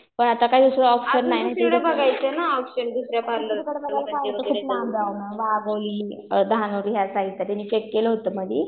होय आता काय विश्वास पण नाही दुसरीकडे जायचं म्हणलं तर खूप लांब जावं लागतं वाघोली भाम्बोरी या साईडला तिने चेक केलं होतं मधी.